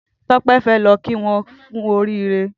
Tope fè lọ kí wọn kù óriré